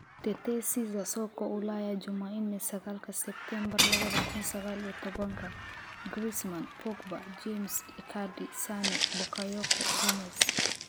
Tetesi za soka Ulaya Jumanne sagaalka sebtembar laba kuun sagal iyo tobanka : Griezmann, Pogba, James, Icardi, Sane, Bakayoko, Gomez